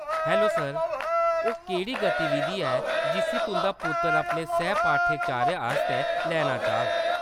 Hello, sir, ओह्‌‌ केह्‌‌ड़ी गतिविधि ऐ जिस्सी तुंʼदा पुत्तर अपने सैह् पाठ्यचर्या आस्तै लैना चाह्‌ग?